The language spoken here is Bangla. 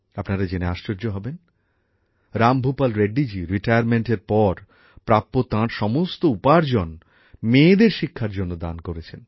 আপনারা জেনে আশ্চর্য হবেন রামভূপাল রেড্ডিজি অবসরগ্রহণের পর প্রাপ্য তাঁর সমস্ত উপার্জন মেয়েদের শিক্ষার জন্য দান করেছেন